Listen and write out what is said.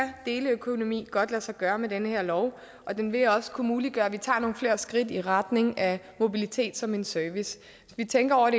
deleøkonomi godt lade sig gøre med den her lov og den vil også kunne muliggøre at vi tager nogle flere skridt i retning af mobilitet som en service